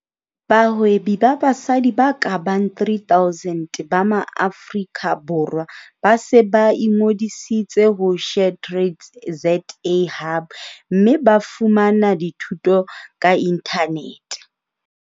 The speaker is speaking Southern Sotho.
Bahwebi ba basadi ba ka bang 3 000 ba Maaforika Borwa ba se ba ingodisitse ho SheTrades ZA Hub. Mme ba fumana dithuto ka inthanete.